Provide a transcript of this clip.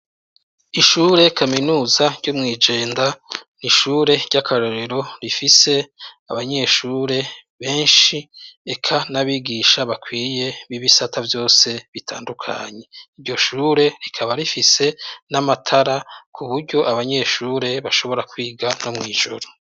Ishure kaminuza ryo mw'iJenda n'ishure ry'akarorero rifise abanyeshure benshi eka n'abigisha bakwirye b'ibisata vyose bitandukanye, iryoshure rikaba rifise n'amatara kuburyo abanyeshure bashobora kwiga no mw' ijoro.